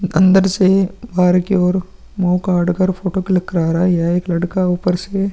अंदर से बाहर की ओर मुंह गाड़ कर फोटो क्लिक करा रहा है। यह एक लड़का ऊपर से --